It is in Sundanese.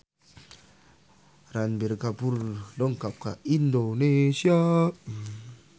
Ranbir Kapoor dongkap ka Indonesia